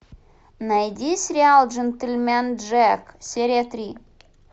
найди сериал джентельмен джек серия три